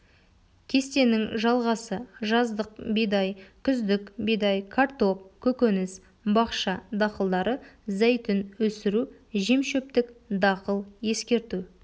кестенің жалғасы жаздық бидай күздік бидай картоп көкөніс бақша дақылдары зәйтүн өсіру жемшөптік дақыл ескерту